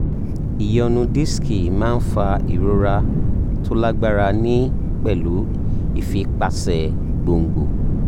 ìyọnu disiki máa ń fa ìrora tó lágbára ní pẹ̀lú ìfipáṣe gbòǹgbò